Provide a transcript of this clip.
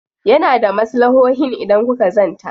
Yana da maslahohin idan kuka zanta.